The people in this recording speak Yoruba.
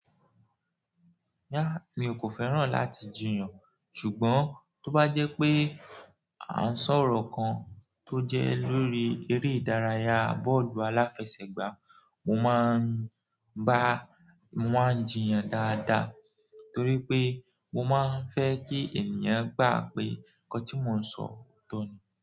Rara mi kò fẹ́ràn láti jiyàn, ṣùgbọ́n tó bá jẹ́ pé à ń sọ̀rọ̀ kan tó jẹ́ lórí eré ìdárayá bọ́ọ̀lù aláfẹsẹ̀gbá, mo máa ń bá, mo máa ń jiyàn dáadáa torí pé mo máa ń fẹ́ kí ènìyàn gba pé nǹkan tí mo ń sọ otọ ní.